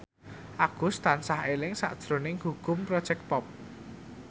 Agus tansah eling sakjroning Gugum Project Pop